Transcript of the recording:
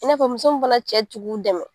I n'a fɔ muso mun fana cɛ tɛ k'u dɛmɛ